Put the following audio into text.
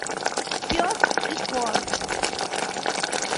пес и ко